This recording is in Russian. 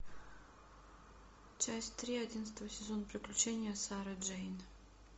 часть три одиннадцатого сезона приключения сары джейн